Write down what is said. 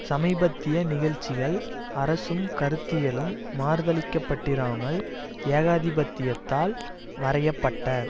சமீபத்திய நிகழ்ச்சிகள் அரசும் கருத்தியலும் மறுதலிக்கப்பட்டிராமல் ஏகாதிபத்தியத்தால் வரைய பட்ட